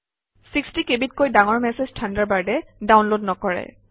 ৬0 কেবিতকৈ ডাঙৰ মেচেজ থাণ্ডাৰবাৰ্ডে ডাউনলোড নকৰে